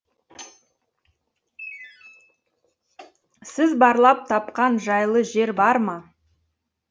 сіз барлап тапқан жайлы жер бар ма